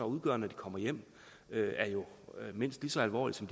udgør når de kommer hjem er jo mindst lige så alvorlig som